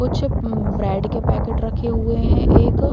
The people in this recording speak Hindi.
कुछ अम्म ब्रेड के पैकेट रखे हुए है एक --